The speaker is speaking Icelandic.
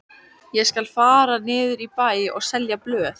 Ég skal fara niður í bæ og selja blöð.